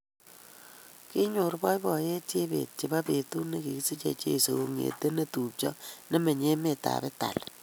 Kinyor boiboiyet Chebet chebo betut negisiche cheiso kongete netupcho nemenye emetab Italia